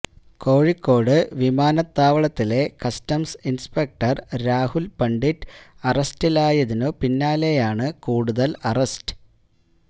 കോഴിക്കോട് വിമാനത്താവളത്തിലെ customs inspector Rahul Pandit അറസ്റ്റിലായതിനു പിന്നാലെയാണ് കൂടുതല് അറസ്റ്റ്